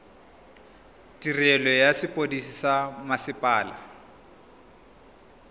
tirelo ya sepodisi sa mmasepala